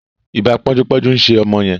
Iba ponju-ponju nṣe ọmọ yen.